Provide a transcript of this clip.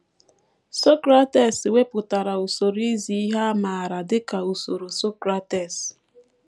Socrates wepụtara usoro izi ihe a maara dị ka usoro Socrates.